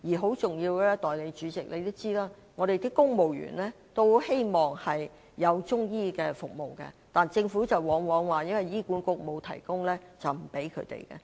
很重要的是，代理主席，你也知道公務員很希望獲提供中醫服務，但是，政府往往表示因為醫管局沒有中醫服務便不向他們提供。